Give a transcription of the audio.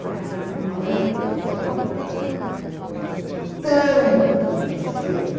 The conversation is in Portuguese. Mas a minha mãe e o meu namorado tanto me encheram.